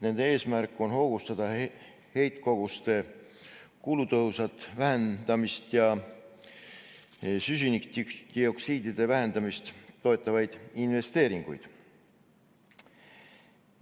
Nende eesmärk on hoogustada heitkoguste kulutõhusat vähendamist ja süsinikdioksiidide vähendamist toetavaid investeeringuid.